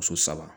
Muso saba